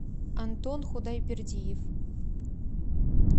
антон худайбердиев